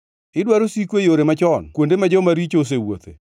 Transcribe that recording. Idwaro siko e yore machon kuonde ma joma richo osewuothe,